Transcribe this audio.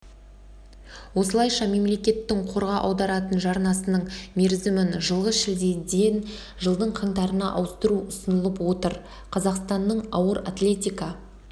осылайша мемлекеттің қорға аударатын жарнасының мерзімін жылғы шілдеден жылдың қаңтарына ауыстыру ұсынылып отыр қазақстанның ауыр атлетика